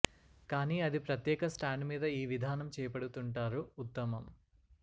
కానీ అది ప్రత్యేక స్టాండ్ మీద ఈ విధానం చేపడుతుంటారు ఉత్తమం